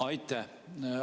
Aitäh!